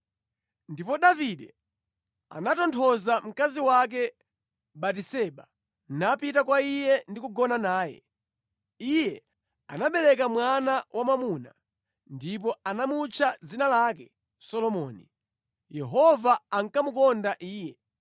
Ndipo Davide anatonthoza mkazi wake Batiseba, napita kwa iye ndi kugona naye. Iye anabereka mwana wamwamuna, ndipo anamutcha dzina lake Solomoni. Yehova ankamukonda iye.